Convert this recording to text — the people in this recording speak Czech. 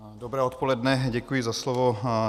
Dobré odpoledne, děkuji za slovo.